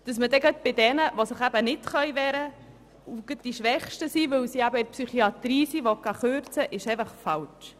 Es ist falsch, dass man dann gerade bei den Schwächsten sparen will, die sich nicht wehren können, weil sie sich in der Psychiatrie befinden.